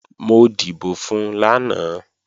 Mo dìbò fun lánàá